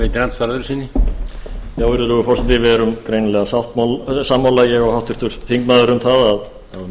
já virðulegur forseti við erum greinilega sammála ég og háttvirtur þingmaður um það að